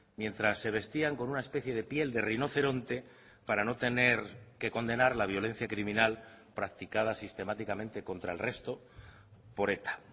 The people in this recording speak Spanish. mientras se vestían con una especie de piel de rinoceronte para no tener que condenar la violencia criminal practicada sistemáticamente contra el resto por eta